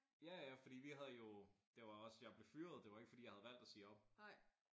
Ja ja fordi vi havde jo det var også jeg blev fyret. Det var ikke fordi jeg havde valgt at sige op